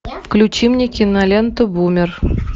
включи мне киноленту бумер